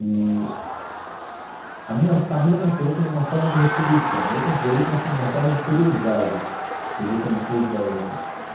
Eee a minha família considerou como uma forma de retribuição, eu considerei mais como uma forma de curiosidade, querer conhecer o judaísmo.